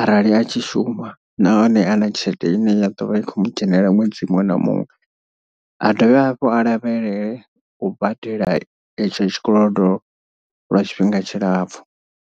arali a tshi shuma nahone ana tshelede ine ya ḓovha ikho mu dzhenelela ṅwedzi muṅwe na muṅwe. A dovhe hafhu a lavhelele u badela etsho tshikolodo lwa tshifhinga tshilapfhu.